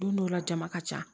Don dɔw la jama ka ca